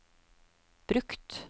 brukt